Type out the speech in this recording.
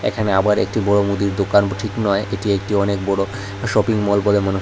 এখানে আবার একটি বড় মুদি দোকান ঠিক নয় এটি একটি অনেক বড় শপিংমল বলে মনে হয়।